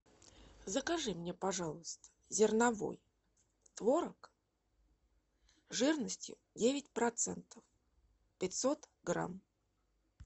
закажи мне пожалуйста зерновой творог жирностью девять процентов пятьсот грамм